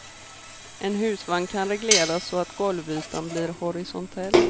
En husvagn kan regleras så att golvytan blir horisontell.